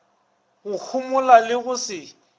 go homola le go se